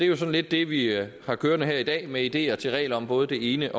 jo sådan lidt det vi har kørende her i dag med ideer til regler om både det ene